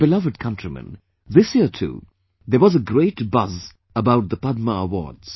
My beloved countrymen, this year too, there was a great buzz about the Padma award